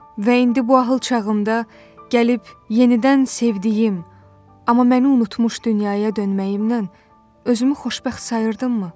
Və indi bu ahıl çağımda gəlib yenidən sevdiyim, amma məni unutmuş dünyaya dönməyimlə özümü xoşbəxt sayırdımmı?